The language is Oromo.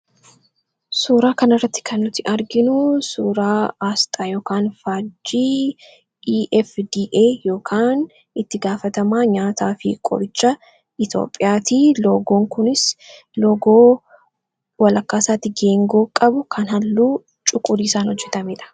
suuraa kan irratti kannuti arginu suuraa aasxaa yk faajjii efday itti gaafatamaa nyaataa fi qoricha itoophiyaatii logoon kunis loogoo walakkaasaatigeengoo qabu kan halluu cuqudiisaan hojjetameedha